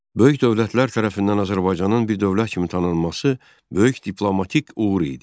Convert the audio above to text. Böyük dövlətlər tərəfindən Azərbaycanın bir dövlət kimi tanınması böyük diplomatik uğur idi.